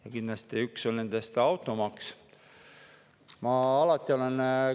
Ja kindlasti üks nendest on automaks.